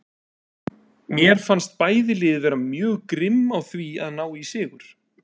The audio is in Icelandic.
Mér fannst bæði lið vera mjög grimm á því að ná í sigur.